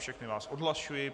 Všechny vás odhlašuji.